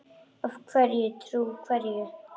Að vera trú hverju?